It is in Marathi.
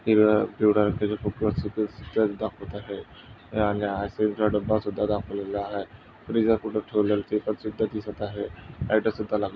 हिरव्या पिवळा फुग्गासुद्धा दाखवत आहे. आल्या डब्बासुद्धा दाखवत आहे फ्रिज पुढे ठेवलेले पेपरसुद्धा दिसत आहे. लाइट सुद्धा--